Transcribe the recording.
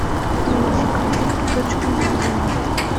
найди ка фильм точка невозврата